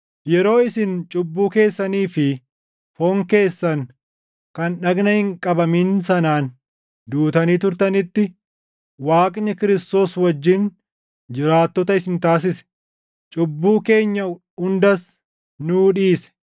Yeroo isin cubbuu keessanii fi foon keessan kan dhagna hin qabamin sanaan duutanii turtanitti Waaqni Kiristoos wajjin jiraattota isin taasise. Cubbuu keenya hundas nuu dhiise;